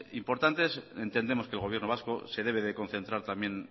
importantes entendemos que el gobierno vasco se debe de concentrar también